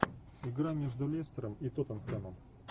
игра между лестером и тоттенхэмом